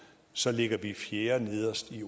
så ligger vi fjerdenederst i